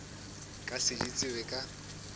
ka se di tsebe ka